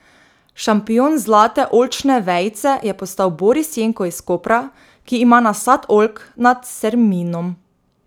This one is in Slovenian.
Šampion Zlate oljčne vejice je postal Boris Jenko iz Kopra, ki ima nasad oljk nad Serminom.